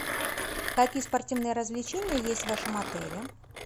какие спортивные развлечения есть в вашем отеле